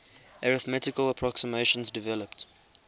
arithmetical approximations developed